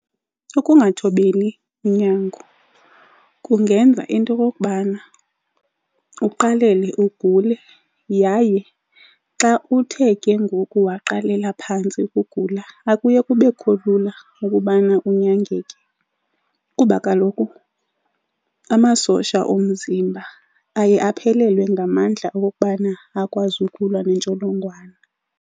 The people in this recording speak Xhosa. Ukungathobeli unyango kungenza into okokubana uqalele ugule yaye xa uthe kengoku waqalela phantsi ukugula akuye kube kulula ukubana unyangeke kuba kaloku amasosha omzimba aye aphelelwe ngamandla okokubana akwazi ukulwa nentsholongwane.